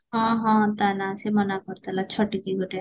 ହଁ ହଁ ତା ନାଁ ସିଏ କରିଦେଲା ଛଟିକି ଗୋଟେ